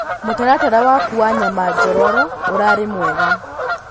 mũtaratara waku wa nyama njororo urari mwega